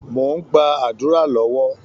Mò ń gba àdúrà lọ́wọ́